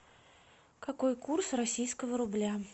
какой курс российского рубля